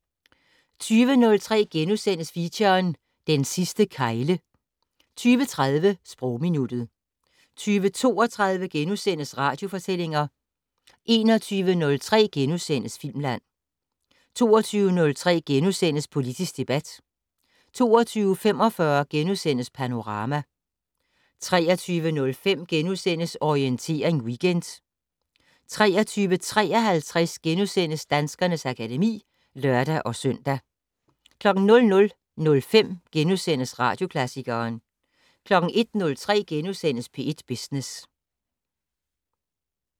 20:03: Feature: Den sidste kegle * 20:30: Sprogminuttet 20:32: Radiofortællinger * 21:03: Filmland * 22:03: Politisk debat * 22:45: Panorama * 23:05: Orientering Weekend * 23:53: Danskernes akademi *(lør-søn) 00:05: Radioklassikeren * 01:03: P1 Business *